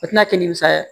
O tɛna kɛ nimisa ye